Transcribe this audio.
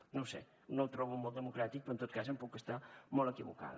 no ho sé no ho trobo molt democràtic però en tot cas puc estar molt equivocada